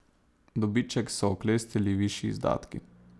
Dobiček so oklestili višji izdatki.